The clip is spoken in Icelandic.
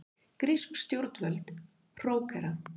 Grísk stjórnvöld hrókera